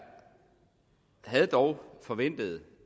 havde dog forventet